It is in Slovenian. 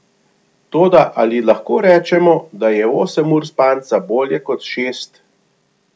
Toda ali lahko rečemo, da je osem ur spanca bolje kot šest?